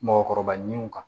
Mɔgɔkɔrɔba ɲininiw kan